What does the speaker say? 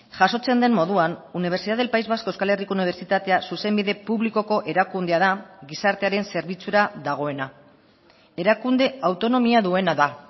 jasotzen den moduan universidad del pais vasco euskal herriko unibertsitatea zuzenbide publikoko erakundea da gizartearen zerbitzura dagoena erakunde autonomia duena da